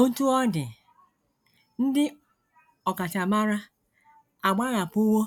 Otú ọ dị, ndị ọkachamara agbahapụwo